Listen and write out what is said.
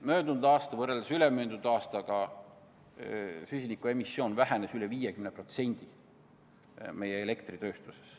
Möödunud aastal vähenes võrreldes ülemöödunud aastaga süsiniku emissioon meie elektritööstuses üle 50%.